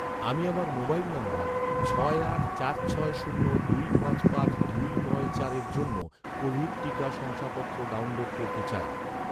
আমি আমার মোবাইল নম্বর ছয় আট চার ছয় শূন্য দুই পাঁচ পাঁচ দুই নয় চারের জন্য কোভিড টিকা শংসাপত্র ডাউনলোড করতে চাই